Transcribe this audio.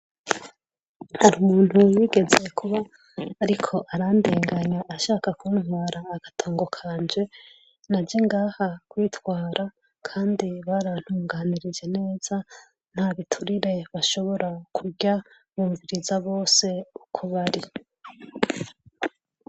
Hari umuntu yigeze kuba ariko arandenganya ashaka kuntwara agatongo kanje naje ngaha kwitwara kandi barantunganirije neza, nta biturire bashobora kurya, bumviriza bose uko bari.